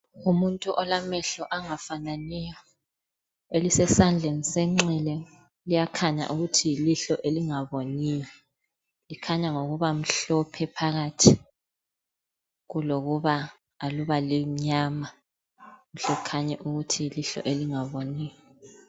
Umuntu olamehlo angafananiyo, elisesandleni sokunxele likhanya mhlophe ukuthi aliboni kulokuthi aluba limnyama lihle likhanye ukuthi yilihlo elingaboniyo.